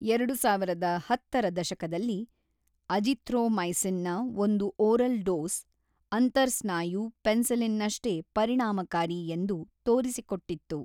ಎರಡು ಸಾವಿರದ ಹತ್ತರ ದಶಕದಲ್ಲಿ, ಅಜಿಥ್ರೊಮೈಸಿನ್‌ನ ಒಂದು ಓರಲ್ ಡೋಸ್, ಅಂತರ್‌ಸ್ನಾಯು ಪೆನ್ಸಿಲಿನ್‌ನಷ್ಟೇ ಪರಿಣಾಮಕಾರಿ ಎಂದು ತೋರಿಸಿಕೊಟ್ಟಿತ್ತು.